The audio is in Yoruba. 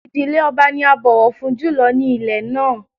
Ìdílé ọba ni a bọ̀wọ̀ fún jù lọ ní ilẹ̀ náà